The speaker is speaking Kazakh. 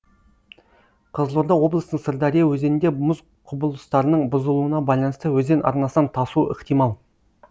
қызылорда облысының сырдария өзенінде мұз құбылыстарының бұзылуына байланысты өзен арнасынан тасуы ықтимал